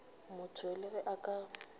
motho le ge a ka